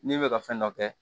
N'i bɛ ka fɛn dɔ kɛ